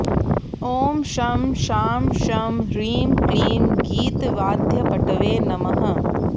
ॐ शं शां षं ह्रीं क्लीं गीतवाद्यपटवे नमः